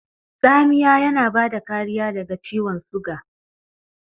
Tsamiya yana bada kariya daga ciwan suga.